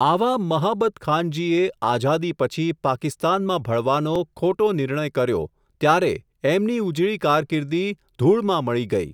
આવા, મહાબતખાનજીએ, આઝાદી પછી, પાકિસ્તાનમાં ભળવાનો, ખોટો નિર્ણય કર્યો, ત્યારે, એમની ઉજળી કારકીર્દિ, ધુળમાં મળી ગઈ.